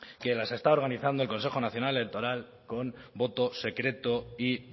que las está organizando el consejo nacional electoral con voto secreto y